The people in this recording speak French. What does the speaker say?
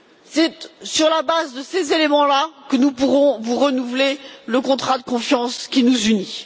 C'est sur la base de ces éléments que nous pourrons renouveler le contrat de confiance qui nous unit.